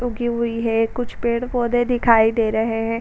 उगी हुई है कुछ पेड़ पौधे दिखाई दे रहे हैं।